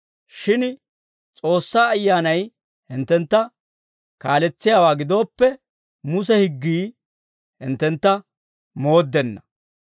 Shin S'oossaa Ayyaanay hinttentta kaaletsiyaawaa gidooppe, Muse higgii hinttentta mooddenna.